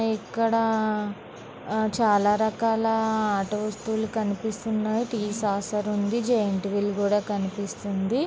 ఇక్కడ చాలా రకాల ఆట వస్తువులు కనిపిస్తున్నాయి టి సాసర్ ఉంది జెయింట్ వీల్ కూడా కనిపిస్తుంది.